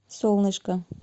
солнышко